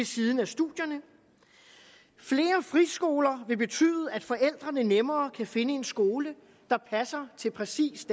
siden af studierne flere friskoler vil betyde at forældrene nemmere kan finde en skole der passer til præcis